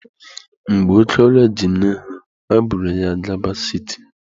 Mgbe oke ọrịa ji nne ha, ha buru ya gaba siti.